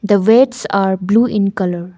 the weights are blue in colour.